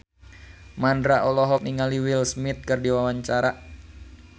Mandra olohok ningali Will Smith keur diwawancara